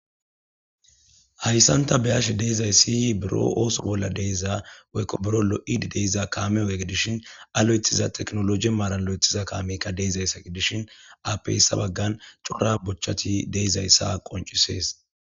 Haysan ta be'ashe dizays buro ooso bola diza woyko buro lo'id de'ya kaame oge gidishn a lo'ethiza tekinoloje maran lo'ethiza kaameyka de'izaysa gidishn, ape hesa bagan cora bochati de'izaysa qoncises.